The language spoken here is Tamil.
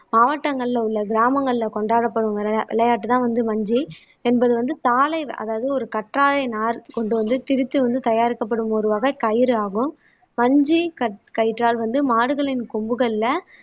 மாவட்டங்கள்ல உள்ள கிராமங்கள்ல கொண்டாடப்படும் விளையா விளையாட்டுதான் வந்து மஞ்சு என்பது வந்து தாழை அதாவது ஒரு கற்றாழை நார் கொண்டு வந்து திரித்து வந்து தயாரிக்கப்படும் ஒரு வகை கயிறு ஆகும் பஞ்சு கற் கயிற்றால் வந்து மாடுகளின் கொம்புகள்ல